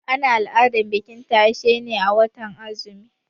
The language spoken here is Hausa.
Ana al'adar bikin tashe ne a watan azumi.